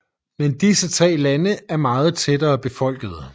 Men disse tre lande er meget tættere befolket